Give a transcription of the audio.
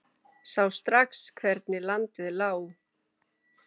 Sá strax hvernig landið lá.